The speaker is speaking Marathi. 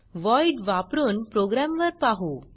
voidवापरुन प्रोग्रॅमवर पाहु